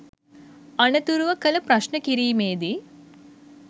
අනතුරුව කළ ප්‍රශ්න කිරීමේදී